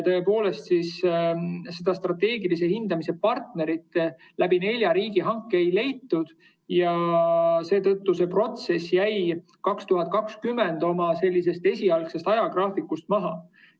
Strateegilise hindamise partnerit nelja riigihankega aga ei leitud ja seetõttu jäi see protsess 2020. aastal esialgsest ajagraafikust maha.